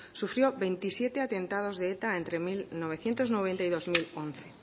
sufrió veintisiete atentados de eta entre mil novecientos noventa y dos mil once